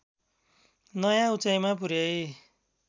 नयाँ उचाइमा पुर्‍याई